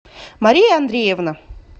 мария андреевна